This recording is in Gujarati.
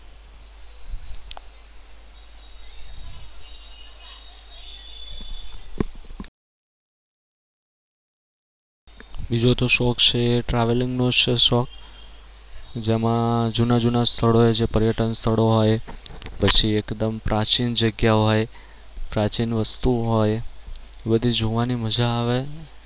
બીજો તો શોખ છે travelling નો છે શોખ જેમાં જૂના જૂના સ્થળો એ જે પર્યટન સ્થળ હોય પછી એકદમ પ્રાચીન જગ્યા હોય પ્રાચીન વસ્તુ હોય બધી જોવાની મજા આવે